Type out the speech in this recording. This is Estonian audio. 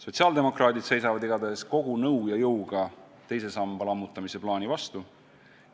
Sotsiaaldemokraadid seisavad igatahes kogu nõu ja jõuga teise samba lammutamise plaanile vastu.